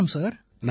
வணக்கம் சார்